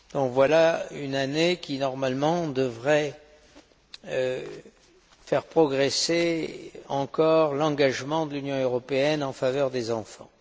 Voilà donc une année qui, normalement, devrait faire progresser encore l'engagement de l'Union européenne en faveur des enfants.